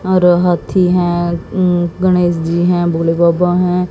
और हाथी है गणेश जी है भोले बाबा है।